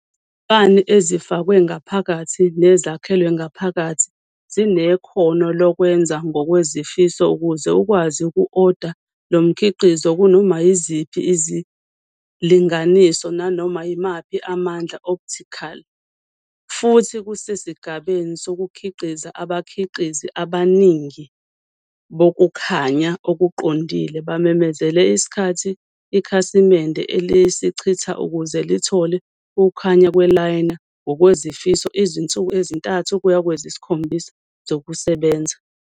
Izibani ezifakwe ngaphakathi nezakhelwe ngaphakathi zinekhono lokwenza ngokwezifiso ukuze ukwazi uku-oda lo mkhiqizo kunoma yiziphi izilinganiso nanoma yimaphi amandla optical, futhi kusesigabeni sokukhiqiza, abakhiqizi abaningi bokukhanya okuqondile bamemezele isikhathi ikhasimende elisichitha ukuze lithole ukukhanya kwe-liner ngokwezifiso izinsuku ezi-3 kuya kwezi-7 zokusebenza.